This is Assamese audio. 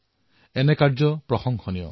এনে প্ৰয়াস প্ৰশংসাৰ যোগ্য হব লাগে